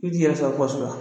U jija la.